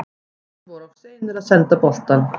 Menn voru of seinir að senda boltann.